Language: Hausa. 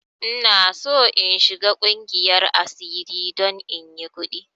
Ina son in shiga ƙungiyar asiri don inyi ƙudi!